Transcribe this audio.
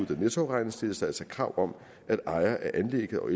der nettoafregnes stilles der altså krav om at ejerne af anlægget og